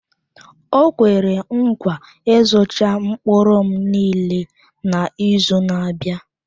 O kwere nkwa ịzụcha mkpụrụ m niile n'izu na-abịa.